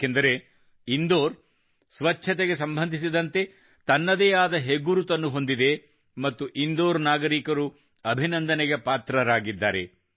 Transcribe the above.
ಏಕೆಂದರೆ ಇಂದೋರ್ ಸ್ವಚ್ಛತೆಗೆ ಸಂಬಂಧಿಸಿದಂತೆ ತನ್ನದೇ ಆದ ಹೆಗ್ಗುರುತನ್ನು ಹೊಂದಿದೆ ಮತ್ತು ಇಂದೋರ್ ನಾಗರಿಕರು ಅಭಿನಂದನೆಗೆ ಪಾತ್ರರಾಗಿದ್ದಾರೆ